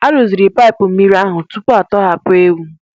A rụziri paịpụ mmiri ahụ tupu a tọhapụ ewu.